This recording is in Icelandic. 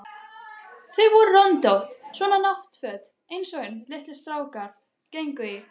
Þau voru röndótt, svona náttföt einsog litlir strákar gengu í.